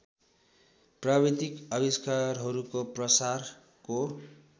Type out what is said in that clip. प्राविधिक आविष्कारहरूको प्रसारको